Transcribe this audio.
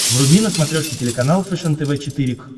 вруби на смотрешке телеканал фэшен тв четыре к